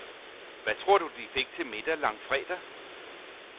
Hvad tror du de fik til middag langfredag?